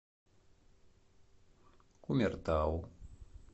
кумертау